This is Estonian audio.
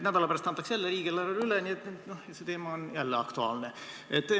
Nädala pärast antakse riigieelarve üle ja see teema on jälle aktuaalne.